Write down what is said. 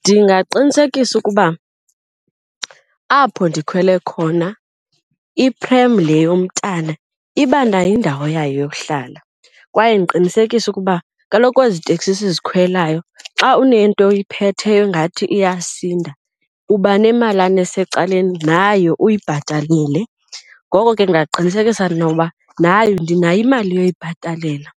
Ndingaqinisekisa ukuba apho ndikhwele khona iprem le yomntana iba nayo indawo yayo yokuhlala kwaye ndiqinisekise ukuba kaloku ezi teksi sizikhwelayo xa unento ephetheyo ingathi iyasinda uba nemalana esecaleni nayo uyibhatalile. Ngoko ke ndingaqinisekisa noba nayo ndinayo imali yokuyibhatalela